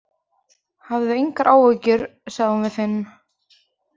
Hafðu engar áhyggjur, sagði hún við Finn.